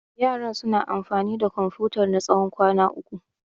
Yaran suna amfani da Komfutar na tsawon kwana uku.